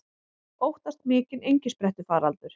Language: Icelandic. Óttast mikinn engisprettufaraldur